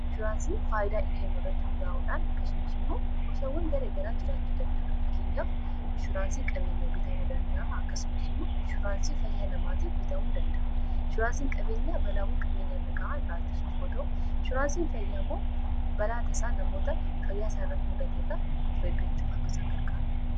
Inshuuraansiin faayidaa inni keennu irratti hundaa'uudhaan akkasumis immoo gosawwan gara garaa jiraachuu danda'a fakkeenyaaf inshuraansii qabeenyaa bitamuu danda'a akkasumis immo inshuraansii fayyaa namoota bitamuu danda'a inshuraansiin qabeenyaa balaawwan qabeenya irra ga'aan irrraaittisuuf yootau inshuraansiin fayyaa immoo balaa tasaa namoota fayyaaisaa irratti mudateef of eeggachuuf akkasaan garkaarudha.